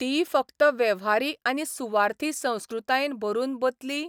तीय फक्त वेव्हारी आनी सुवार्थी संस्कृतायेन भरून बतली?